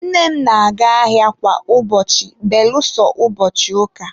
nne m na-aga ahịa kwa ụbọchị belụsọ ụbọchị ụka